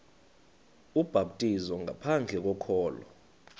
ubhaptizo ngaphandle kokholo